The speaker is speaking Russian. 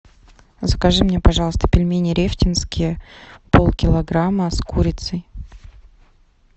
закажи мне пожалуйста пельмени рефтинские пол килограмма с курицей